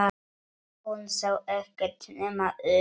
Hún sá ekkert nema Örn.